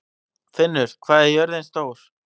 Finnur, hvað er jörðin stór?